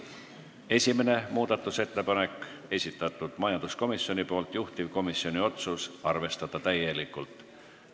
Esimene muudatusettepanek, majanduskomisjoni esitatud, juhtivkomisjoni otsus: arvestada täielikult.